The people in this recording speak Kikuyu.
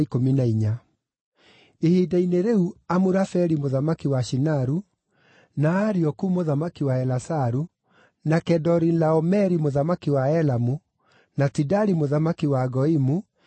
Ihinda-inĩ rĩu, Amurafeli mũthamaki wa Shinaru, na Arioku mũthamaki wa Elasaru, na Kedorilaomeri mũthamaki wa Elamu, na Tidali mũthamaki wa Goimu,